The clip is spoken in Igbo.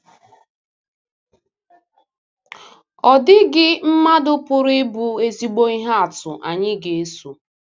Ọ dịghị mmadụ pụrụ ịbụ ezigbo ihe atụ anyị ga-eso.